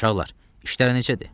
Uşaqlar, işlər necədir?